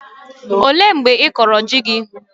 Ọ léé mgbe ịkọrọ ji gị?